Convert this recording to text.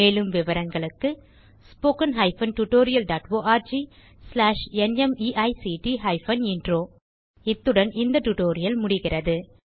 மேலும் விவரங்களுக்கு 1 இத்துடன் இந்த டியூட்டோரியல் முடிகிறது